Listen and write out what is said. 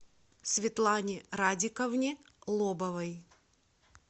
светлане радиковне лобовой